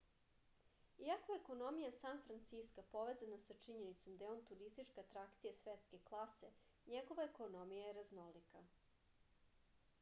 iako je ekonomija san franciska povezana sa činjenicom da je on turistička atrakcija svetske klase njegova ekonomija je raznolika